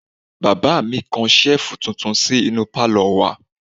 Bàbá mi kan Ṣẹ́ẹ̀fù tuntun sí inú pálọ̀ wa